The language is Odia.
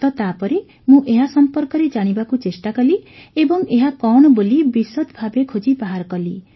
ତ ତାପରେ ମୁଁ ଏହା ସମ୍ପର୍କରେ ଜାଣିବାକୁ ଚେଷ୍ଟା କଲି ଏବଂ ଏହା କଣ ବୋଲି ବିଶଦ୍ ଭାବେ ଖୋଜି ବାହାର କଲି